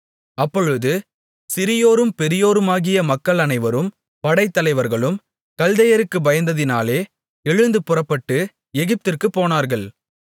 அப்பொழுது சிறியோரும் பெரியோருமாகிய மக்கள் அனைவரும் படைத்தலைவர்களும் கல்தேயருக்குப் பயந்ததினாலே எழுந்து புறப்பட்டு எகிப்திற்குப் போனார்கள்